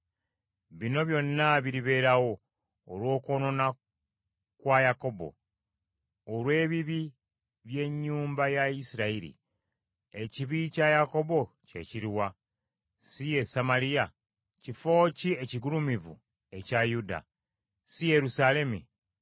Bino byonna biribeerawo olw’okwonoona kwa Yakobo, olw’ebibi by’ennyumba ya Isirayiri. Ekibi kya Yakobo kye kiruwa? Si ye Samaliya? Kifo ki ekigulumivu ekya Yuda? Si Yerusaalemi?